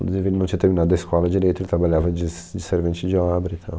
Inclusive, ele não tinha terminado a escola direito, ele trabalhava de s de servente de obra e tal.